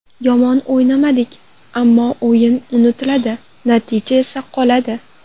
Yomon o‘ynamadik, ammo o‘yin unutiladi, natija esa qoladi.